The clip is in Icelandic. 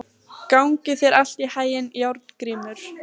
Gangi þér allt í haginn, Járngrímur.